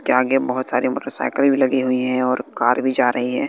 के आगे बहोत सारी मोटरसाइकिले भी लगी हुई हैं और कार भी जा रही है।